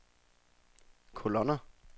kolonner